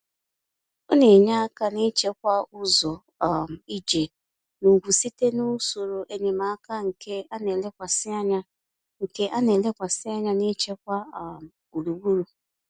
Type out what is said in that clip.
Ọ na-enye aka n’ịchekwa ụzọ um ije n’ugwu site n’usoro enyemaka nke na-elekwasị anya nke na-elekwasị anya n’ichekwa um gburugburu.